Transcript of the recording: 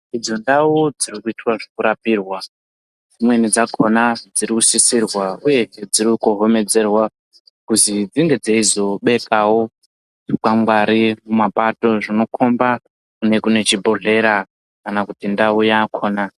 Idzo ndawo dzirikuita zvekurapirwa dzimweni dzakona dzirikusisirwa uye dzirikuhomedzerwa kuzi dzinge dzeyizobekawo zvikwangwari mumapato zvinokomba kune kune chibhedlera kana kuti ndawo yakona.